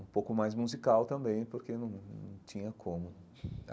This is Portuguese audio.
Um pouco mais musical também, porque não não tinha como.